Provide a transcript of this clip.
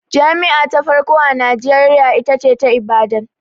Jami'a ta farko a Najeriya ita ce ta Ibadan